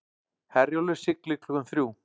Herjólfur siglir klukkan þrjú